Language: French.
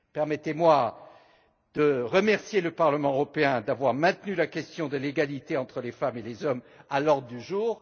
Permettez moi de remercier le Parlement européen d'avoir maintenu la question de l'égalité entre les femmes et les hommes à l'ordre du jour.